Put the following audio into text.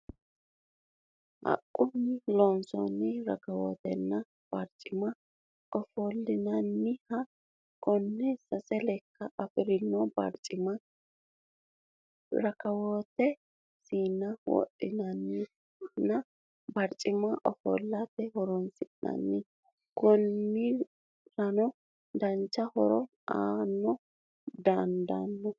Haqunni loonsooni rakaawotenna barichima ofolinanniha, kone sase lekka afirino barichimanna rakawotte siinna wodhatenna baricima offolate horonsinanni, koniranno dancha horo aa dandaano